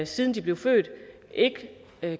siden de blev født ikke